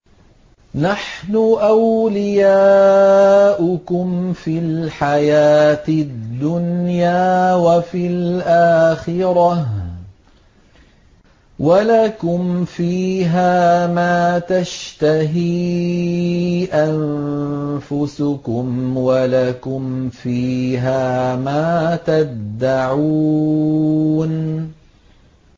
نَحْنُ أَوْلِيَاؤُكُمْ فِي الْحَيَاةِ الدُّنْيَا وَفِي الْآخِرَةِ ۖ وَلَكُمْ فِيهَا مَا تَشْتَهِي أَنفُسُكُمْ وَلَكُمْ فِيهَا مَا تَدَّعُونَ